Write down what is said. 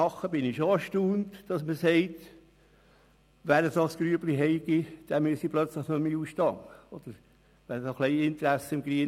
Ich bin schon erstaunt, wenn man sagt, wer eine so kleine Grube habe, müsse plötzlich nicht mehr in den Ausstand treten.